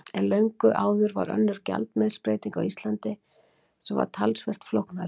En löngu áður varð önnur gjaldmiðilsbreyting á Íslandi sem var talsvert flóknari.